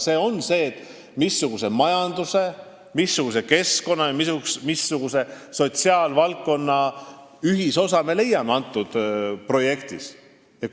See tähendab seda, missuguse majanduse, keskkonna ja sotsiaalvaldkonna ühisosa me selles projektis leiame.